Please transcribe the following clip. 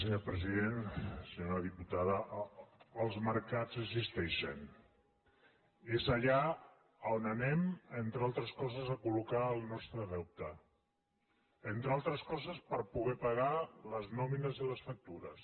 senyora diputada els mercats existeixen és allà on anem entre altres coses a col·locar el nostre deute entre altres coses per poder pagar les nòmines i les factures